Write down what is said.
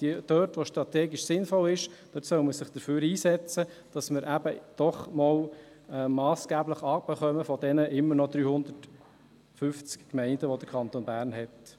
Aber wo es strategisch sinnvoll ist, soll man sich dafür einsetzen, dass wir eben doch einmal massgeblich von den immer noch 350 Gemeinden des Kantons Bern herunterkommen.